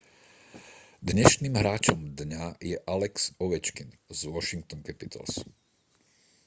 dnešným hráčom dňa je alex ovečkin z washington capitals